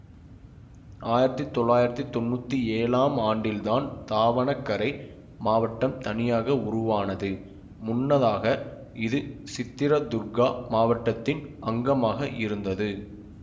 ஆயிரத்தி தொள்ளாயிரத்தி தொன்னூத்தி ஏழாம் ஆண்டில்தான் தாவணகரே மாவட்டம் தனியாக உருவானது முன்னதாக இது சித்திரதுர்கா மாவட்டத்தின் அங்கமாக இருந்தது